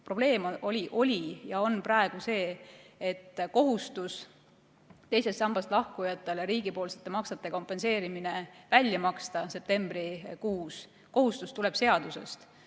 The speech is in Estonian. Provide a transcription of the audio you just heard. Probleem oli ja on praegu see, et riigil on kohustus teisest sambast lahkujatele kompenseerida riigipoolsed maksed septembrikuus, see kohustus tuleneb seadusest.